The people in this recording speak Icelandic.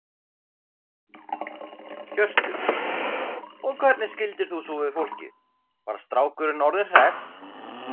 Hjörtur: Og hvernig skildir þú svo við fólkið, var strákurinn orðinn hress?